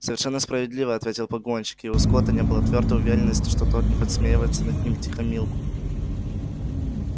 совершенно справедливо ответил погонщик и у скотта не было твёрдой уверенности что тот не подсмеивается над ним втихомилку